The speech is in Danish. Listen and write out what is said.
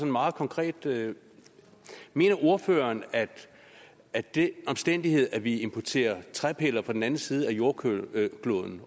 meget konkret mener ordføreren at det at vi importerer træpiller fra den anden side af jordkloden